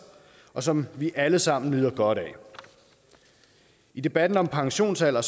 og som vi alle sammen nyder godt af i debatten om pensionsalder